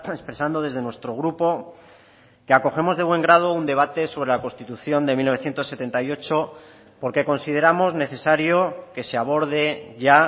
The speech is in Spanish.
expresando desde nuestro grupo que acogemos de buen grado un debate sobre la constitución de mil novecientos setenta y ocho porque consideramos necesario que se aborde ya